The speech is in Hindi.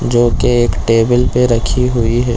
जो की एक टेबल पर रखी हुई है।